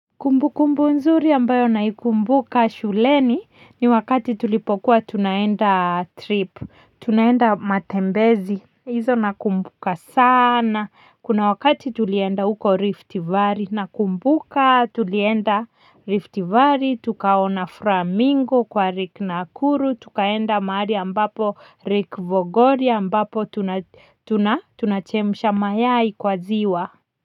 Kumbu kumbu nzuri ambayo naikumbuka shuleni ni wakati tulipokuwa tunaenda trip tunaenda matembezi hizo nakumbuka sana kuna wakati tulienda uko rift vari nakumbuka tulienda Rift valley tukaona flamingo kwa lake Nakuru tukaenda pahali ambapo lake bogoria ambapo tuna tunachemsha mayai kwa ziwa.